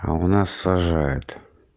а у нас сажают